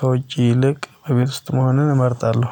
ከውጪ ይልቅ በቤት ውስጥ መሆንን እመርጣለሁ።